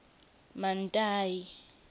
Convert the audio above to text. mantayi